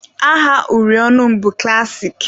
Aha uri ọnụ m bụ klassik.